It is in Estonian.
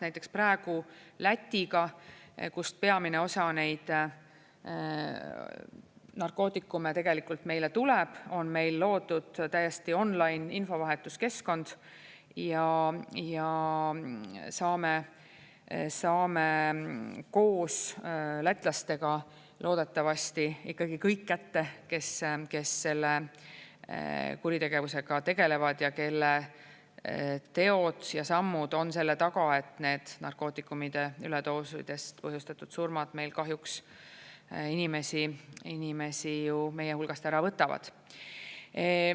Näiteks praegu Lätiga, kus peamine osa neid narkootikume tegelikult meile tuleb, on meil loodud täiesti on-line infovahetuskeskkond ja saame koos lätlastega loodetavasti ikkagi kõik kätte, kes selle kuritegevusega tegelevad ja kelle teod ja sammud on selle taga, et need narkootikumide üledoosidest põhjustatud surmad meil kahjuks inimesi meie hulgast ära võtavad.